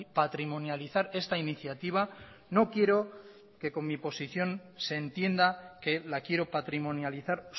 patrimonializar esta iniciativa no quiero que con mi posición se entienda que la quiero patrimonializar